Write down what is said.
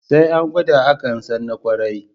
Sai an gwada akan san na ƙwarai